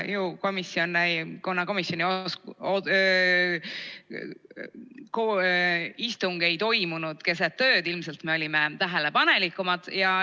Kuna komisjoni istung ei toimunud keset ööd, siis ilmselt me olime tähelepanelikumad.